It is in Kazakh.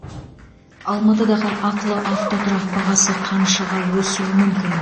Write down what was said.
алматыдағы ақылы автотұрақ бағасы қаншаға өсуі мүмкін